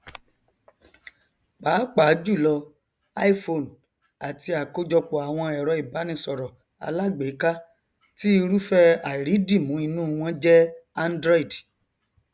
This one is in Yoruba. pàápàá jùlọ iphone àti àkójọpọ àwọn ẹrọ ìbánisọrọ alágbèéká tí irúfẹ àìrídìmú inú wọn jẹ android